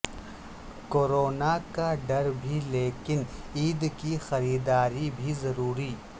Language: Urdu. کورونا کا ڈر بھی لیکن عید کی خریداری بھی ضروری